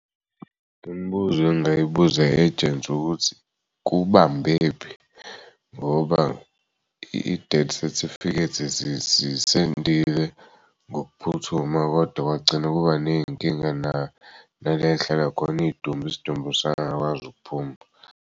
Imibuzo engingayibuza i-agent ukuthi kubambephi ngoba i-death certificate zisendiwe ngokuphuthuma kodwa kwagcina kuba ney'nkinga na nala yihlala khona idumbu isidumbu sangakwazi ukuphuma.